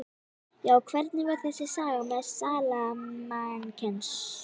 Já, hvernig var þessi saga með smalamennskuna?